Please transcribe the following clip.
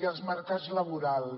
i els mercats laborals